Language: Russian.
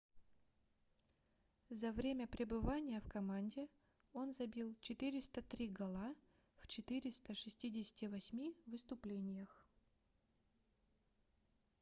за время пребывания в команде он забил 403 гола в 468 выступлениях